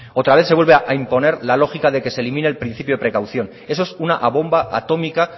otra vez se vuelve a imponer la lógica de que se elimine el principio de precaución eso es una bomba atómica